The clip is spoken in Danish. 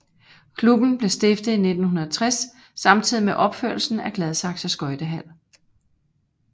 Klubben blev stiftet i 1960 samtidig med opførelsen af Gladsaxe Skøjtehal